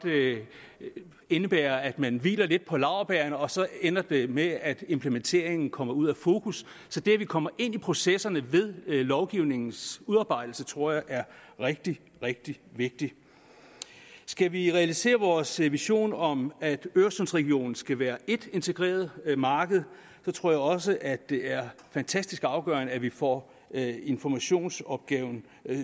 indebære at man hviler lidt på laurbærrene og så ender det med at implementeringen kommer ud af fokus så det at vi kommer ind i processerne ved lovgivningens udarbejdelse tror jeg er rigtig rigtig vigtigt skal vi realisere vores vision om at øresundsregionen skal være ét integreret marked tror jeg også at det er fantastisk afgørende at vi får informationsopgaven